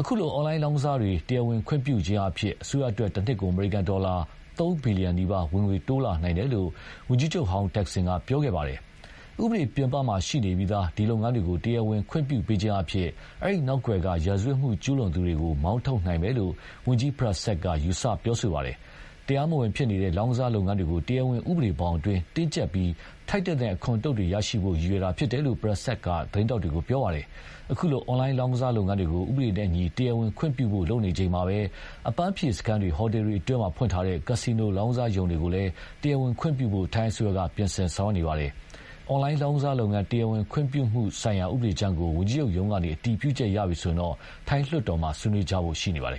အခုလို အွန်လိုင်းလောင်ကစားတွေ တရားဝင်ခွင့်ပြုအားဖြင့် အစိုးရအတွက် တနှစ်ကို အမေရိကန်ဒေါ်လာ သုံး ဘီလီယံနီးပါး ဝင်ငွေ တိုးလာနိုင်တယ်လို့ ဝန်ကြီးချုပ်ဟောင်း တက်ဆင်ကပြောခဲ့ပါတယ်။ ဥပဒေပြင်ပမှာရှိနေပြီးသား ဒီလုပ်ငန်းတွေကို တရားဝင်ခွင့်ပြုပေးခြင်းအားဖြင့် အဲဒီ နောက်ကွယ်က ရာဇဝတ်မှုကျူးလွန်သူတွေကိုလည်း မောင်းထုတ်နိုင်မယ်လို့ ဝန်ကြီး Prasert က ပြောပါတယ်။ တရားမဝင်ဖြစ်နေတဲ့ လောင်းကစားလုပ်ငန်းတွေကို တရားဝင်ဥပဒေဘောင်အတွင်း တင်းကြပ်ပြီး ထိုက်သင့်တဲ့အခွန်အတုတ်တွေ ရရှိနိုင်ဖို့ ရည်ရွယ်တာဖြစ်တယ်လို့ Prasert က သတင်းထောက်တွေကို ပြောခဲ့ပါတယ်။ အခုလို အွန်လိုင်းလောင်းကစားလုပ်ငန်းတွေကို ဥပဒေနဲ့အညီ တရားဝင်ခွင့်ပြုဖို့ လုပ်နေချိန်မှာပဲ၊ အပန်းဖြေစခန်းတွေ ဟိုတယ်တွေအတွင်းမှာ ဖွင့်ထားတဲ့ ကာစီနို လောင်ကစားရုံတွေကိုလည်း တရားဝင်ခွင့်ပြုဖို့ ထိုင်းအစိုးရက ပြင်ဆင်ဆောင်ရွက်နေပါတယ်။ အွန်လိုင်းလောင်ကစားလုပ်ငန်း တရားဝင်ခွင့်ပြုမှုဆိုင်ရာဥပဒေကြမ်းကို ဝန်ကြီးချုပ်ရုံးကနေ အတည်ပြုချက် ရပြီဆိုရင်တော့၊ ထိုင်းလွှတ်တော်မှာ ဆွေးနွေးကြဖို့ရှိနေပါတယ်